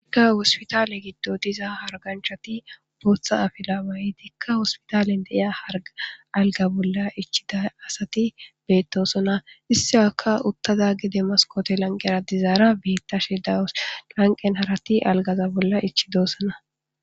Hospital giddoni diza hariganichati botha afila mayiddi hosipatal diya alagini bolla ichidayisi ssati betosona. Isiyaka uttada demasi hanikoti lanqera dizara betashe dawusi lanqen harati aligaza bolla ichidosona